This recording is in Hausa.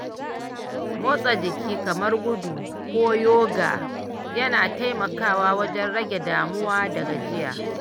Motsa jiki kamar gudu ko "yoga" yana taimakawa wajen rage damuwa da gajiya.